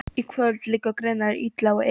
Í kvöld liggur greinilega illa á Evu.